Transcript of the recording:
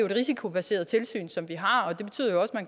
et risikobaseret tilsyn som vi har